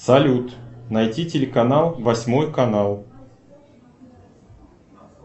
салют найти телеканал восьмой канал